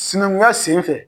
Sinankunya sen fɛ.